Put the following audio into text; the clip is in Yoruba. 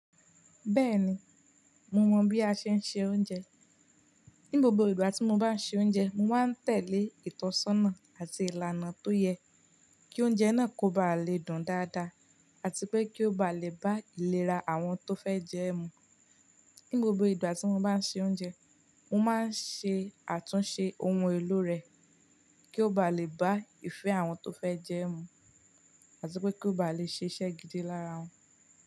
Bẹ́ẹ̀ni, mo mọ bí a ṣe ń se oúnjẹ. Ní gbogbo ìgbà tí mo bá ń ṣe oúnjẹ, mo máa ń tẹ̀lé ìtọ́sọ́nà àti ìlànà tó yẹ kí oúnjẹ náà kó ba lè dùn dáadáa àti pé kí ó ba lè bá ìlera àwọn tó fẹ́ jẹ́ ẹ mu. Ní gbogbo ìgbà tí mo bá ń ṣe oúnjẹ, mo máa ń ṣe àtúnṣe ohun èlò rẹ̀, kí ó ba lè bá ìfẹ́ àwọn tó fẹ́ jẹ ẹ́ mu àti pé kí ó ba lè ṣíṣe gidi lára wọn.